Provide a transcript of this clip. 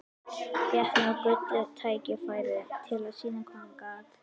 Fékk nú gullið tækifæri til að sýna hvað hann gat.